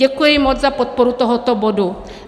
Děkuji moc za podporu tohoto bodu.